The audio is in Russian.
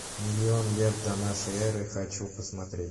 миллион лет до нашей эры хочу посмотреть